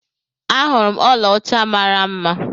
Ahurum ọla ọcha mara mma.